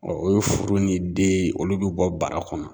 o ye furu ni den ye, olu bɛ bɔ bara kɔnɔ.